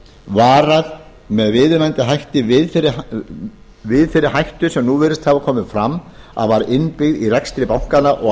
varað með viðunandi hætti við þeirri hættu sem nú virðist hafa komið fram að var innbyggð í rekstur bankanna og